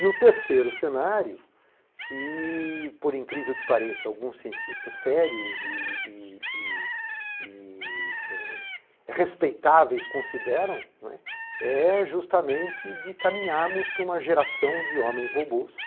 E o terceiro cenário, que por incrível que pareça alguns cientistas sérios e, e, e respeitáveis consideram, é justamente de caminharmos para uma geração de homens robôs,